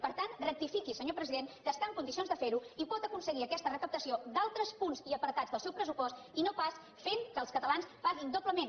per tant rectifiqui senyor president que està en condicions de fer ho i pot aconseguir aquesta recaptació d’altres punts i apartats del seu pressupost i no pas fent que els catalans paguin doblement